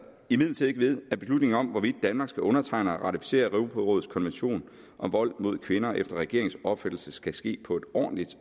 imidlertid ikke ved at beslutningen om hvorvidt danmark skal undertegne og ratificere europarådets konvention om vold mod kvinder efter regeringens opfattelse skal ske på et ordentligt